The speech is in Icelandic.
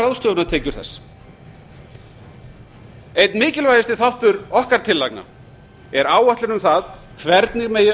ráðstöfunartekjur þess einn mikilvægasti þáttur okkar tillagna er áætlun um það hvernig megi